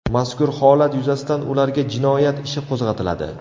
Mazkur holat yuzasidan ularga jinoyat ishi qo‘zg‘atiladi.